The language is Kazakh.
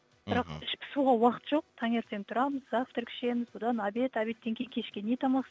бірақ іш пысуға уақыт жоқ таңертең тұрамыз завтрак ішеміз одан обед обедтан кейін кешке не тамақ